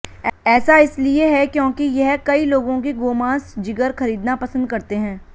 ऐसा इसलिए है क्योंकि यह कई लोगों की गोमांस जिगर खरीदना पसंद करते हैं